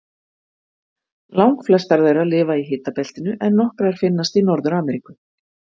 Langflestar þeirra lifa í hitabeltinu en nokkrar finnast í Norður-Ameríku.